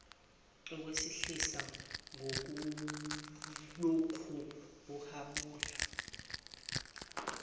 ukwehlise ngokulokhu uhabula